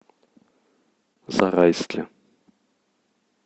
зарайске